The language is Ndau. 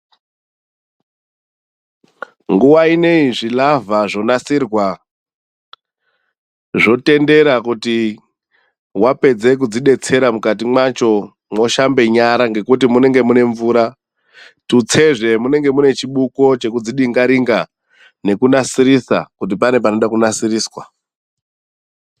Nguwa inei zvilavha zvonasirwa, zvotendera kuti wapedze kudzidhetsera mukati mwacho mwoshambe nyara ngekuti munge munemvura tutsezve munenge munechibuko chikudzidingaringa nekunasirisa kuti pane panode kunasiriswa